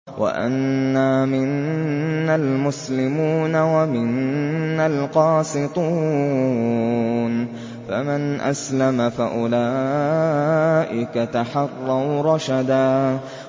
وَأَنَّا مِنَّا الْمُسْلِمُونَ وَمِنَّا الْقَاسِطُونَ ۖ فَمَنْ أَسْلَمَ فَأُولَٰئِكَ تَحَرَّوْا رَشَدًا